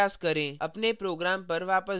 अपने program पर वापस आएँ